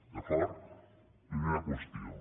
d’acord primera qüestió